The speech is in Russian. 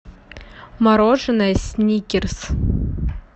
мороженое сникерс